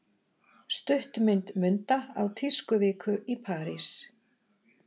Stuttmynd Munda á tískuviku í París